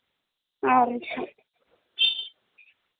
அஹ ஒரு நிமிஷம் Noise